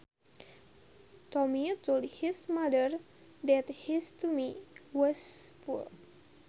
Tommy told his mother that his tummy was full